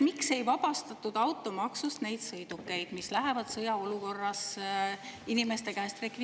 Miks ei vabastatud automaksust neid inimeste sõidukeid, mis lähevad sõjaolukorras rekvireerimisele?